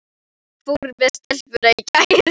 Hvernig fór með stelpuna í gær?